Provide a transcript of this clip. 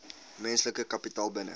menslike kapitaal binne